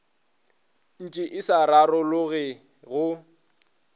ntše e sa rarologe go